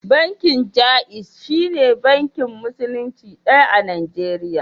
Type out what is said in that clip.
Bankin Jaiz shine bankin Musulunci ɗaya a Najeriya.